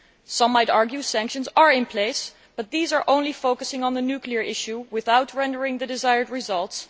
Some might argue that sanctions are in place, but these only focus on the nuclear issue without yielding the desired results.